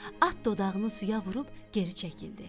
At dodağını suya vurub geri çəkildi.